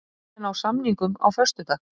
Vilja ná samningum á föstudag